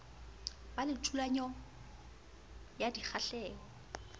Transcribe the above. ba le thulano ya dikgahleho